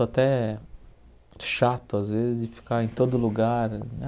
Estou até chato, às vezes, de ficar em todo lugar.